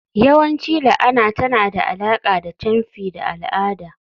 yawanci la'ana tana da alaƙa da camfi da al'ada.